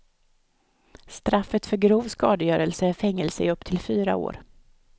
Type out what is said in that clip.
Straffet för grov skadegörelse är fängelse i upp till fyra år.